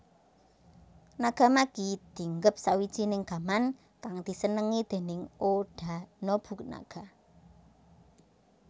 Nagamaki dinggep sawijining gaman kang disenengi déning Oda Nobunaga